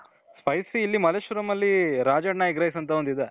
spicy ಇಲ್ಲಿ ಮಲ್ಲೇಶ್ವರಂ ಅಲ್ಲಿ Rajanna egg rice ಅಂತ ಒಂದು ಇದೆ.